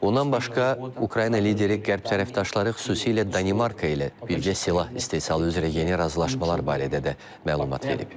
Ondan başqa Ukrayna lideri Qərb tərəfdaşları, xüsusilə Danimarka ilə bircə silah istehsalı üzrə yeni razılaşmalar barədə də məlumat verib.